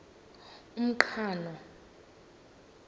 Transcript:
umqhano